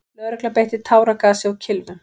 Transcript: Lögregla beitti táragasi og kylfum.